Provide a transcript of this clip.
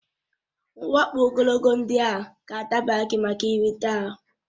Uwe ọkpa ogologo ndị ahụ ga-adabara gị maka ihe nrite ahụ